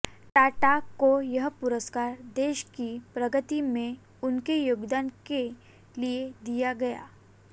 टाटा को यह पुरस्कार देश की प्रगति में उनके योगदान के लिए दिया गया